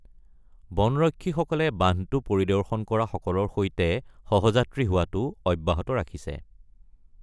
বন ৰক্ষীসকলে বান্ধটো পৰিদৰ্শন কৰা সকলৰ সৈতে সহযাত্ৰী হোৱাটো অব্যাহত ৰাখিছে।